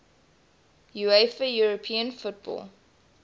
uefa european football